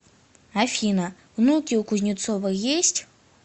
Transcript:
афина внуки у кузнецова есть